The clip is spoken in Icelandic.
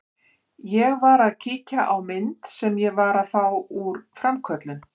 Ég var að kíkja á myndir sem ég var að fá úr framköllun.